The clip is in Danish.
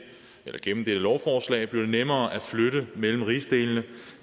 lovforslag bliver det nemmere at flytte mellem rigsdelene